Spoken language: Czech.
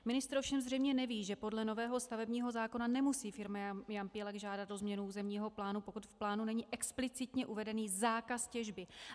Ministr ovšem zřejmě neví, že podle nového stavebního zákona nemusí firma Jampílek žádat o změnu územního plánu, pokud v plánu není explicitně uveden zákaz těžby.